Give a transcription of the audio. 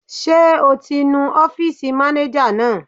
Ṣé o ti nu ọ́fìsì mánéjà náà?